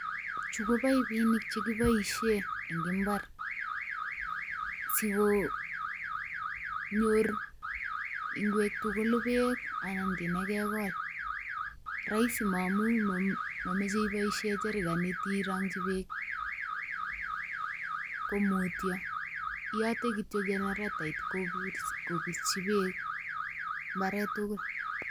Chu ko pipinik chekiboisien en mbaar sikonyor ngwek tugul beek anan kiit nekegol. Roisi amun momoche iboisien cherkenit irongyi beek ko mutyo, iyote kityo cheneretait kobirchi beek mbaret tugul.